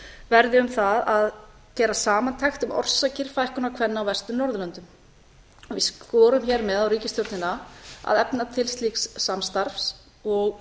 verði um það að gera samantekt um orsakir fækkunar kvenna á vestur norðurlöndum við skorum hér með á ríkisstjórnina að efna til slíks samstarfs og